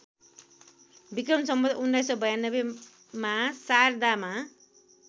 विक्रम सम्वत १९९२ मा शारदामा